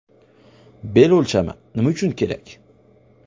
Bel o‘lchami Nima uchun kerak?